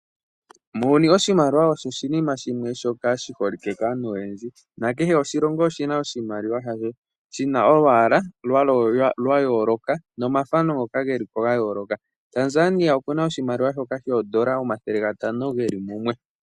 Muuyuni oshimaliwa osho oshinima shimwe shoka shi holike kaantu oyendji. Nakehe oshilongo oshina oshimaliwa shasho. Shina olwaala lwa yooloka , nomathano ngoka geli po ga yooloka. Tanzania okuna oshimaliwa shoka shoondola omathele gatano geli mumwe.